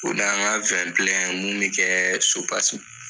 O na an ka mun mi kɛ supasiman.